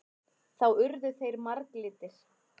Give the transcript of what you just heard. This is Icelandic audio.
Þá urðu þeir marglitir.